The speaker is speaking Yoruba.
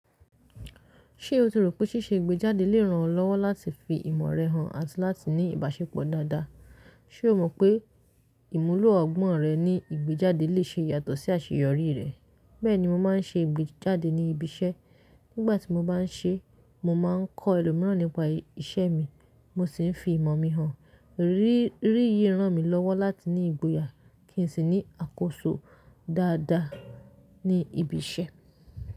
Ṣé o tií ropé́ ṣíṣe ìgbéjáde lè ràn ọ́ lọ́wọ́ láti fi ìmọ̀ rẹ hàn àti láti ní ìbáṣepọ̀ dáadáa? Ṣé o mọ̀ pé ìmúlò ọgbọ́n rẹ ní ìgbéjáde lè ṣe ìyàtọ̀ sí àṣeyọrí rẹ̀? Bẹ́ẹ̀ni, mo máa ń ṣe ìgbéjáde ní ibi iṣẹ́. Nígbà tí mo bá ń ṣe é, mo máa ń kọ́ ẹlòmíràn nípa iṣẹ́ mi, mo sì fi ìmọ̀ mi hàn. Ríìyí ràn mí lọ́wọ́ láti ní ìgboyà kí n sì ní àkóso dáadáa ní ibi iṣẹ́.